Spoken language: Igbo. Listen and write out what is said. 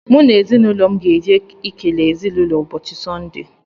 M na ezinụlọ m ga-eje ekele ezinụlọ ụbọchị sonde.